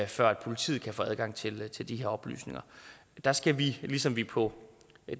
før politiet kan få adgang til til de her oplysninger der skal vi ligesom på